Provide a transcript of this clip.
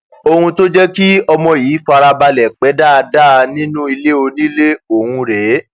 ohun tó jẹ kí ọmọ yìí fara balẹ pé dáadáa nínú ilé onílé ọhún rèé